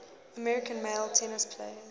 american male tennis players